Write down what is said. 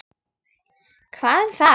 Hvað um það!